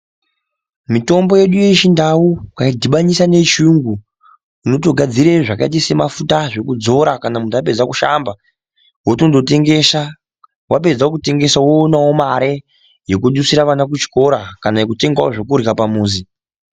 Mitombo yedu yechindau wakaidhubanisa neyechiyungu unotogadzira zvakaita semafuta ekuzora kana muntu apedza kushamba wotondotengesa wapedza kutengesa woona mari yekudusira vana kuchikora kana kutengawo zvekurya pamuzi.